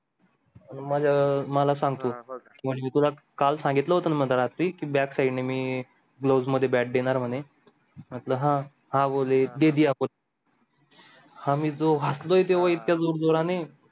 अं मला सांग तू म्हणजे मी तुला काल सांगितलं होता ना मधे रात्री कि मी gloves मध्ये bat देणार म्हणे आम्ही जो हासलोय त्या वर इतक्या जोर जोराने